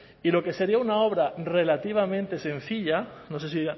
y lo que sería una obra relativamente sencilla no sé si